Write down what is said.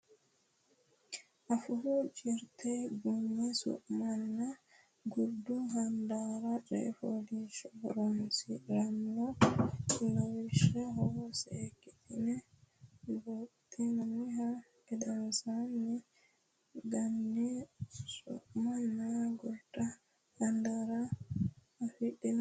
Afuu Jirte Ganyi su manna Gurdu Handaara Coy fooliishsho Horonsi ra noo lawishsha seekkitine buuxxinihu gedensaanni ganyi su manna gurdu handaara afidhino coy fooliishsho onte daftari nera borreesse.